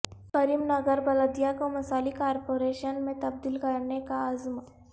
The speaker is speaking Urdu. کریم نگر بلدیہ کو مثالی کارپوریشن میں تبدیل کرنے کا عزم